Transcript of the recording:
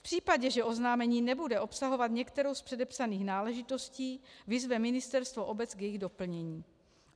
V případě, že oznámení nebude obsahovat některou z předepsaných náležitostí, vyzve ministerstvo obec k jejich doplnění.